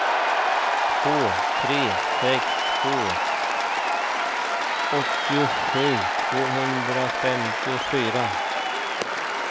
två tre sex två åttiosju tvåhundrafemtiofyra